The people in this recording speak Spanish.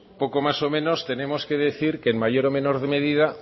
poco más o menos tenemos que decir que en mayor o menor medida